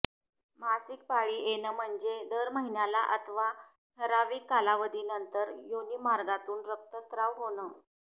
मासिक पाळी येणं म्हणजे दर महिन्याला अथवा ठराविक कालावधीनंतर योनीमार्गातून रक्तस्त्राव होणं